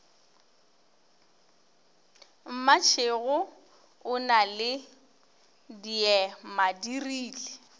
mmatšhego o na le diemadirile